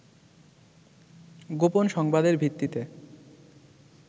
গোপন সংবাদের ভিত্তিতে